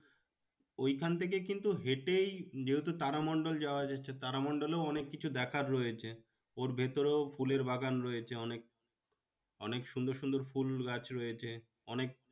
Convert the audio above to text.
ওইখান থেকে কিন্তু হেঁটেই যেহেতু তারামণ্ডল যাওয়া যাচ্ছে তারামণ্ডলেও অনেক কিছু দেখার রয়েছে। ওর ভেতরেও ফুলের বাগান রয়েছে অনেক। অনেক সুন্দর সুন্দর ফুল গাছ রয়েছে। অনেক